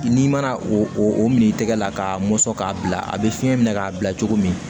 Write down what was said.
N'i mana o min tɛgɛ la k'a mɔsɔn k'a bila a bɛ fiɲɛ minɛ k'a bila cogo min